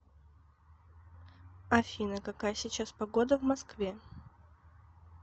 афина какая сейчас погода в москве